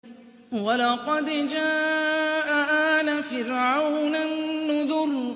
وَلَقَدْ جَاءَ آلَ فِرْعَوْنَ النُّذُرُ